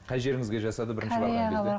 қай жеріңізге жасады бірінші барған кезде